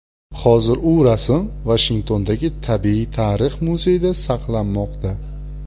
Hozir u rasm Vashingtondagi Tabiiy tarix muzeyida saqlanmoqda.